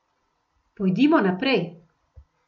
Pojdimo naprej.